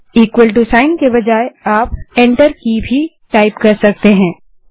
चिन्ह दबाने के बजाय आप इंटर की भी टाइप कर सकते हैं